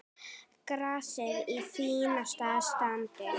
Grasið í fínasta standi.